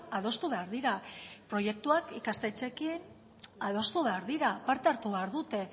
adostu behar dira proiektuak ikastetxeekin adostu behar dira parte hartu behar dute